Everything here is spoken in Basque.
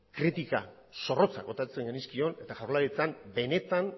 kritika zorrotza botatzen genizkion eta jaurlaritzan benetan